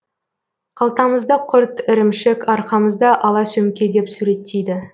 қалтамызда құрт ірімшік арқамызда ала сөмке деп суреттейді